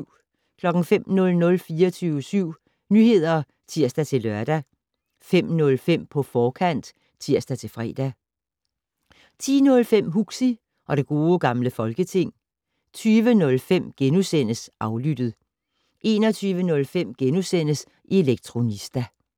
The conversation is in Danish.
05:00: 24syv Nyheder (tir-lør) 05:05: På forkant (tir-fre) 10:05: Huxi og det Gode Gamle Folketing 20:05: Aflyttet * 21:05: Elektronista *